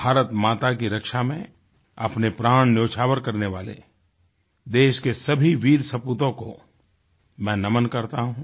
भारतमाता की रक्षा मेंअपने प्राण न्योछावर करने वाले देश के सभी वीर सपूतों को मैं नमन करता हूँ